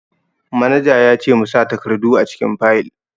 Manaja ya ce mu sa takardu a cikin fayil